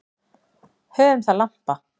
Höfum það lampa.